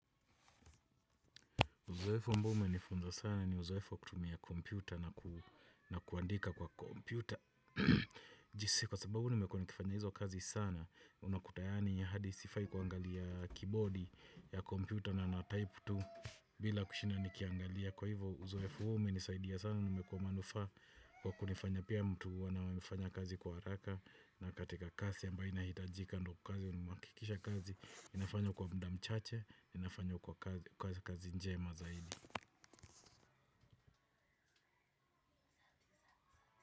Uzoefu mbao umenifunza sana ni uzoefu kutumia kompyuta na kuandika kwa kompyuta. Jinsi kwa sababu nimekua nikifanya hizo kazi sana, unakuta yaani ya hadi sifai kuangalia 'keyboard' ya kompyuta na na type tu bila kushinda nikiangalia. Kwa hivo uzoefu huu umenisaidia sana, kwa manufaa kwa kunifanya pia mtu huwa naweza fanya kazi kwa haraka. Na katika kasi ambayo inahitajika ndo kazi unumakikisha kazi inafanywa kwa muda mchache, inafanywa kwa kasi njema zaidi.